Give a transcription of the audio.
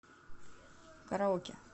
караоке